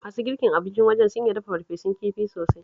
Masu girkin wajen siyar da abincin sun iya dafa farfesun kifi sosai